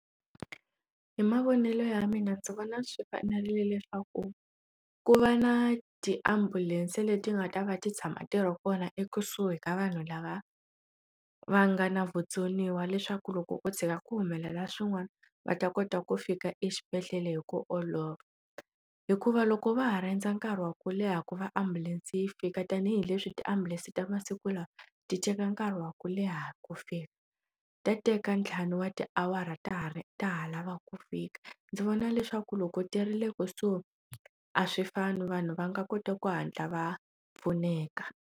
Hi mavonelo ya mina ndzi vona swi fanerile swaku ku va na tiambulense leti nga ta va ti tshama ntirho kona ekusuhi ka vanhu lava va nga na vutsoniwa leswaku loko ko tshuka ku humelela swin'wana va ta kota ku fika exibedhlele hi ku olova hikuva loko va ha rhandza nkarhi wa ku leha ku va ambulense yi fika tanihileswi tiambulense ta masiku lawa ti teka nkarhi wa ku leha ku fika ta teka ntlhanu wa tiawara ta ha ri ta ha lava ku fika ndzi vona leswaku loko ti rile kusuhi a swi fani vanhu va nga kota ku hatla va pfuneka.